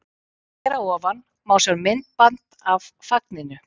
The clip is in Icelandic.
Hér að ofan má sjá myndband af fagninu.